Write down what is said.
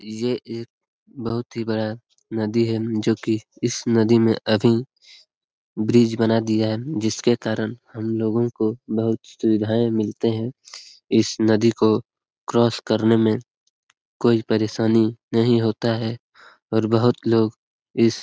ये एक बहुत ही बड़ा नदी है जो की इस नदी में अभी ब्रिज बना दिया है जिस के कारण हम लोगों को बहुत सुविधाएं मिलते हैं। इस नदी को क्रॉस करने में कोई परेशानी नहीं होता है और बहुत लोग इस --